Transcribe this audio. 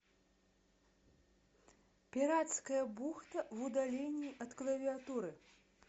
пиратская бухта в удалении от клавиатуры